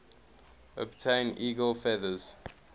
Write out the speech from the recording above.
obtain eagle feathers